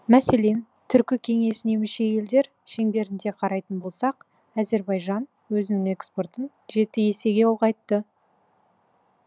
мәселен түркі кеңесіне мүше елдер шеңберінде қарайтын болсақ әзербайжан өзінің экспортын жеті есеге ұлғайтты